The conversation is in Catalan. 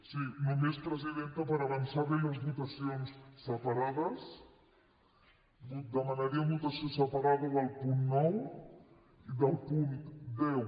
sí només presidenta per avançar li les votacions separades demanaríem votació separada del punt nou i del punt deu